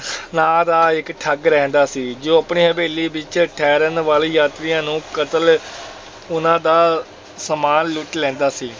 ਨਾਂ ਦਾ ਇੱਕ ਠੱਗ ਰਹਿੰਦਾ ਸੀ, ਜੋ ਆਪਣੀ ਹਵੇਲੀ ਵਿੱਚ ਠਹਿਰਨ ਵਾਲੇ ਯਾਤਰੀਆਂ ਨੂੰ ਕਤਲ ਉਹਨਾਂ ਦਾ ਸਮਾਨ ਲੁੱਟ ਲੈਂਦਾ ਸੀ।